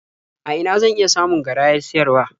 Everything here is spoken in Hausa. A ina zan iya samun garayar siyarwa?